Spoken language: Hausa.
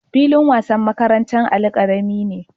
Filin wasan makarantar Ali karami ne